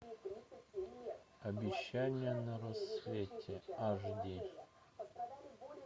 обещание на рассвете аш ди